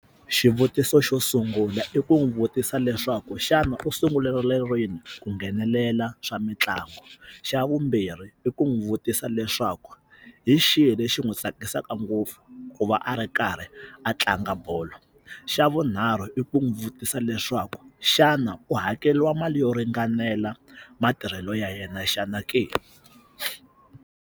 Xivutiso xo sungula i ku n'wi vutisa leswaku xana u sungule rini ku nghenelela swa mitlangu xa vumbirhi i ku n'wi vutisa leswaku hi xihi lexi n'wi tsakisaka ngopfu ku va a ri karhi a tlanga bolo xa vunharhu i ku n'wi vutisa leswaku xana u hakeliwa mali yo ringanela matirhelo ya yena xana ke?